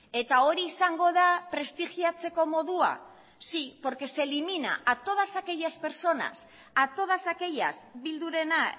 eta hori izango da prestigiatzeko modua sí porque se elimina a todas aquellas personas a todas aquellas bildurena